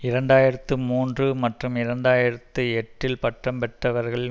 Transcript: இரண்டு ஆயிரத்து மூன்று மற்றும் இரண்டு ஆயிரத்து எட்டில் பட்டம் பெற்றவர்களில்